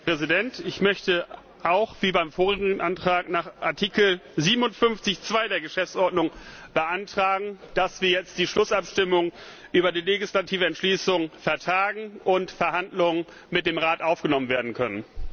Herr Präsident! Ich möchte auch, wie beim vorherigen Antrag, nach Artikel 57 Absatz 2 der Geschäftsordnung beantragen, dass wir jetzt die Schlussabstimmung über die legislative Entschließung vertagen und Verhandlungen mit dem Rat aufgenommen werden können.